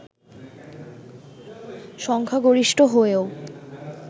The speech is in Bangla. সংখ্যাগরিষ্ঠ হয়েও